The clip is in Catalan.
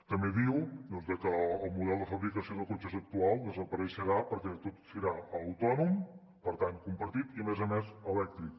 també diu que el model de fabricació de cotxes actual també desapareixerà perquè tot serà autònom per tant compartit i a més a més elèctric